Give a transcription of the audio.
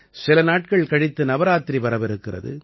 சில நாட்கள் கழித்து நவராத்திரி வரவிருக்கிறது